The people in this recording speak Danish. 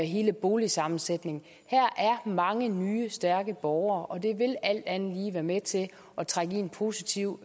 hele boligsammensætningen her er mange nye stærke borgere og det vil alt andet lige være med til at trække i en positiv